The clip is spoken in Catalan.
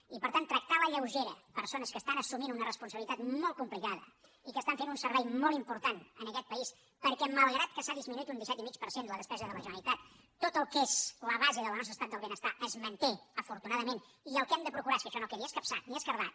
i per tant tractar a la lleugera persones que estan assumint una responsabilitat molt complicada i que estan fent un servei molt important en aquest país perquè malgrat que s’ha disminuït un disset i mig per cent la despesa de la generalitat tot el que és la base del nostre estat del benestar es manté afortunadament i el que hem de procurar és que això no quedi escapçat ni esquerdat